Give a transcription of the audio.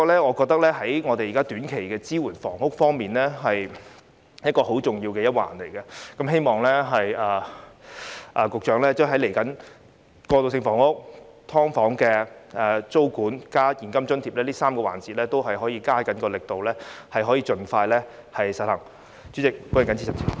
我覺得在房屋的短期支援方面，這是很重要的一環，希望未來在過渡性房屋、"劏房"租管和現金津貼這3個範疇，局長也可以加大力度，盡快實行。